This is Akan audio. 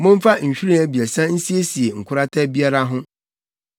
Momfa nhwiren abiɛsa nsiesie nkorata biara ho.